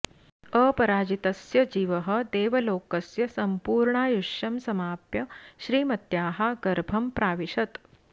अपराजितस्य जीवः देवलोकस्य सम्पूर्णायुष्यं समाप्य श्रीमत्याः गर्भं प्राविशत्